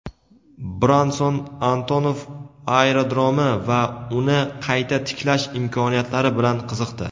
Branson Antonov aerodromi va uni qayta tiklash imkoniyatlari bilan qiziqdi.